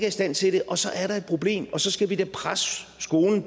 i stand til det og så er der et problem og så skal vi da presse skolen